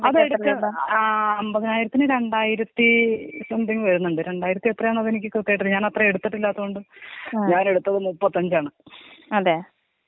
അതെടുക്ക് ആ അമ്പതിനായിരത്തിന് രണ്ടായിരത്തി സംതിങ് വരുന്നുണ്ട് രണ്ടായിരത്തി എത്രന്നുള്ളത് എനിക്ക് ക്രിത്യമായിട്ട് അറിയത്തില്ല ഞാനത്രയും എടുത്തില്ലാത്തത് കൊണ്ട്. ഞാനെടുത്തത് മുപ്പത്തഞ്ചാണ്.